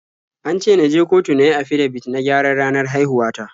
An ce na je kotu na yi afidabit na gyaran ranar haihuwa ta.